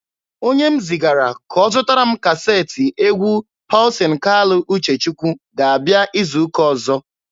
Onye m zigara ka ọ zụtara m kaseetị egwu Pọlsin Kalụ Uchechukwu ga-abịa izu ụka ọzọ.